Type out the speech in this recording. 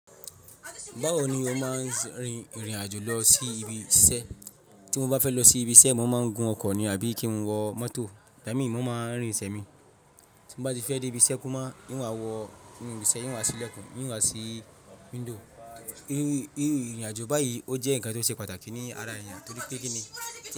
Báwo ni o máa ń rin ìrìn àjò lọ sí ibi iṣẹ́? Tí mo bá fẹ́ lọ sí ibi iṣẹ́, mo máa ń gun ọkọ̀ ni àbí kí n wọ mọ́tò. Igba mí, mo máa ń rìn sẹ̀mi. Tí m bá ti fẹ́ dé ibi iṣẹ́ kumá iń wa wọ inu ibi iṣẹ́, in wá sílẹ̀kùn, in wá sí window. Írìn àjò báyìí ó jẹ́ ǹkan tó ṣe pàtàkì ní ara èèyàn torí pé kí ni?